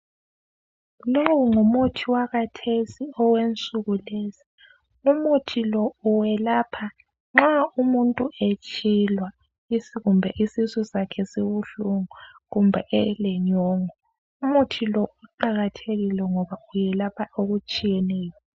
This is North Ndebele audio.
lowoo ngumuthi wakhathesi owensukulezi umuthi lo uyelapha nxa umuntu etshiwa kumbe isisusakhesibuhlungu kumbe elenyongo umuthi lo uqhakathekile ngoba uyelapha okutshiyeneyo.